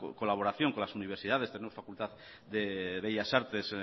colaboración con las universidades tenemos facultad de bellas artes